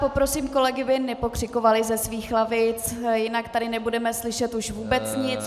Poprosím kolegy, aby nepokřikovali ze svých lavic, jinak tady nebudeme slyšet už vůbec nic.